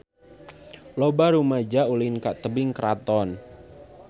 Loba rumaja ulin ka Tebing Keraton